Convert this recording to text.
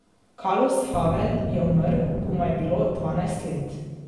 Kalus Havel je umrl, ko mu je bilo dvanajst let.